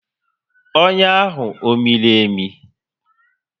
Ọnyá ahụ ọ miri emi?